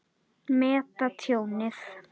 Meta tjónið.